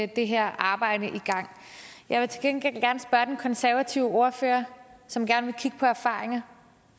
det her arbejde i gang jeg vil til gengæld gerne spørge den konservative ordfører som gerne vil kigge på erfaringer